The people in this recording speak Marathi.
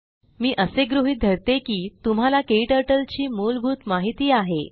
मी असे गृहीत धरते की तुम्हाला क्टर्टल ची मूलभूत माहीत आहे